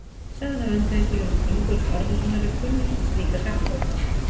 Sagan af öndvegissúlum Ingólfs Arnarsonar er kunnust slíkra sagna.